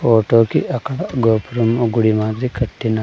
ఫోటోకి అక్కడ గోపురం గుడి మాదిరి కట్టిం--